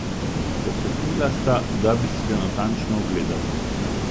Pokleknila sta, da bi si ga natančno ogledala.